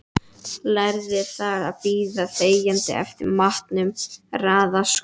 Lærði þar að bíða þegjandi eftir matnum, raða skóm.